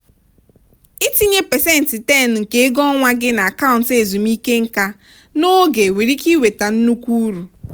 ịtinye pasentị 10 nke ego ọnwa gị n'akaụntụ ezumike nká n'oge nwere ike iweta nnukwu uru.